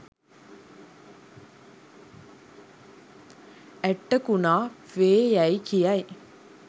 ඇට්ටකුණා වේ යැයි කියයි.